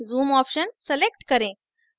zoom option select करें